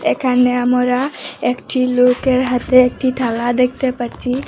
এখানে আমোরা একটি লোকের হাতে একটি থালা দেখতে পাচ্ছি।